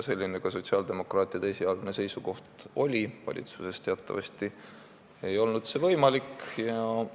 Selline sotsiaaldemokraatide esialgne seisukoht ka oli, kuid valitsuses teatavasti ei olnud võimalik seda otsustada.